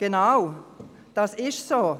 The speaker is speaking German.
Genau, das ist so!